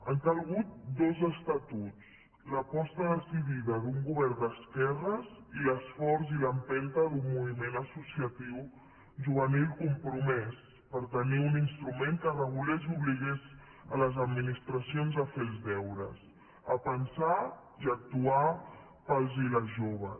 han calgut dos estatuts l’aposta decidida d’un govern d’esquerres i l’esforç i l’empenta d’un moviment associatiu juvenil compromès per tenir un instrument que regulés i obligués les administracions a fer els deures a pensar i actuar per als i les joves